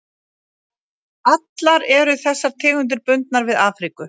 Allar eru þessar tegundir bundnar við Afríku.